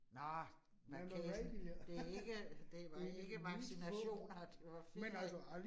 Nåh, vacation. Det ikke, det var ikke vaccinationer, det var ferie